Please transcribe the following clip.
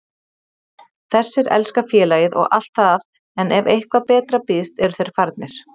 Þessir elska félagið og allt það en ef eitthvað betra býðst eru þeir farnir.